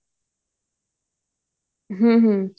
ਹਮ ਹਮ